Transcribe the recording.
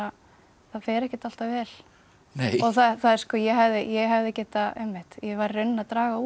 það fer ekkert alltaf vel ég hefði ég hefði getað ég var í rauninni að draga úr